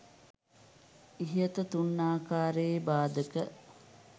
ඉහත තුන් ආකාරයේ බාධක